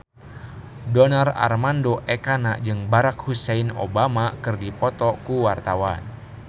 Donar Armando Ekana jeung Barack Hussein Obama keur dipoto ku wartawan